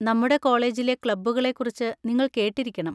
നമ്മുടെ കോളേജിലെ ക്ലബ്ബുകളെക്കുറിച്ച് നിങ്ങൾ കേട്ടിരിക്കണം.